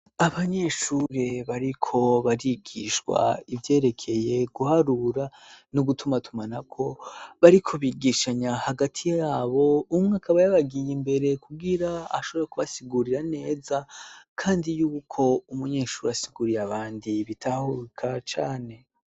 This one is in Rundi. Abanyeshure bariko barigishwa ivyerekeye guharura n'ugutumatuma na ko bariko bigishanya hagati yabo umwe akabayabagiye imbere kugira ashobore kubasigurira neza, kandi yuko umunyeshuri asiguriye abandi bitahuruka cane.